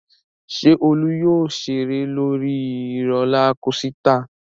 Ṣé Olú yóò ṣeré lórí rólá kosità?